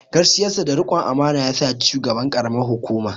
Gaskiyarsa da rikon amana yasa ya ci shugaban ƙaramar hukuma.